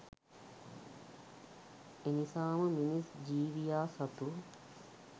එනිසාම මිනිස් ජීවියා සතු